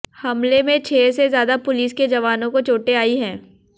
हमले में छह से ज्यादा पुलिस के जवानों को चोटें आई हैं